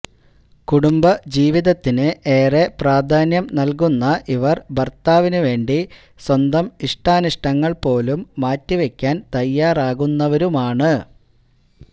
കുടംബ ജീവിതത്തിന് ഏറെ പ്രധാന്യം നല്കുന്ന ഇവര് ഭര്ത്താവിനു വേണ്ടി സ്വന്തം ഇഷ്ടാനിഷ്ടങ്ങള് പോലും മാറ്റി വയ്ക്കാന് തയ്യാറാകുന്നവരുമാണ്